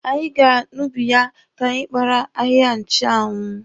Anyị gara n'ubi ya ka anyị kpara ahịhịa nchụanwụ.